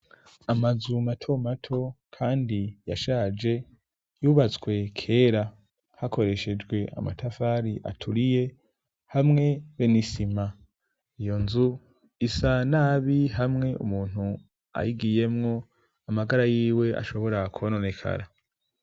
Amazu mato mato kandi yashaje yubatswe kera hakoreshejwe amatafari aturiye, hamwe be n'isima. Iyo nzu isa nabi hamwe umuntu ayigiyemwo amagara yiwe ashobora kwononekara.